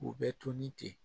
U bɛ to ni ten